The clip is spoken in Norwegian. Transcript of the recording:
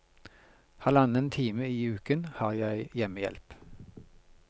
Halvannen time i uken har jeg hjemmehjelp.